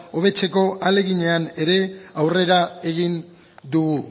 hobetzeko ahaleginean ere aurrera egin dugu